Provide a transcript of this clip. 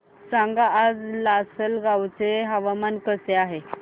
सांगा आज लासलगाव चे हवामान कसे आहे